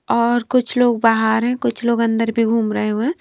और कुछ लोग बाहर हैं कुछ लोग अंदर भी घूम रहे हुए हैं।